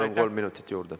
Palun, kolm minutit juurde.